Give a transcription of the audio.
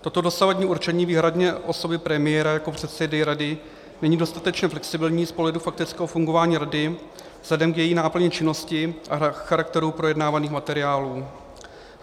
Toto dosavadní určení výhradně osoby premiéra jako předsedy rady není dostatečně flexibilní z pohledu faktického fungování rady vzhledem k její náplni činnosti a charakteru projednávaných materiálů.